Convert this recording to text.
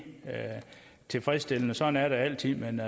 tilfredsstillende sådan er det altid men